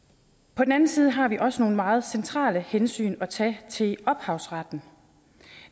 på den anden side har vi også nogle meget centrale hensyn at tage til ophavsretten